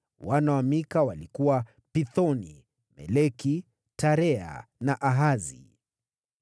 Wana wa Mika walikuwa: Pithoni, Meleki, Tarea, na Ahazi.